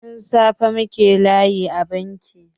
Tun safe muke layi a banki.